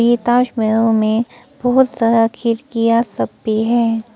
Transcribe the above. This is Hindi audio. ये ताजमहल में बहुत सारा खिड़कियां सब भी है।